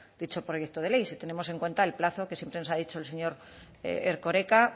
dicho proyecto de ley si tenemos en cuenta el plazo que siempre nos ha dicho el señor erkoreka